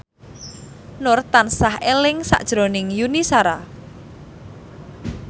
Nur tansah eling sakjroning Yuni Shara